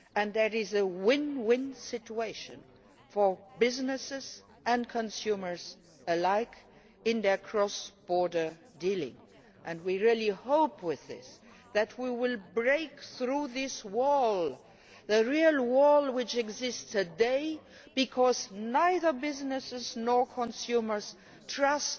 That is a win win situation for businesses and consumers alike in their cross border dealings. We really hope with this that we will break through this wall, the real wall which exists today, because neither businesses nor consumers trust